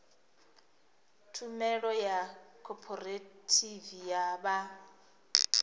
tshumelo ya khophorethivi ya zwa